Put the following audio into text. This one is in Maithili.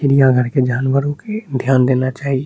चिड़ियाघर के जानवरो के ध्यान देना चाही।